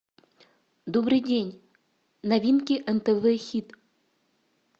добрый день новинки нтв хит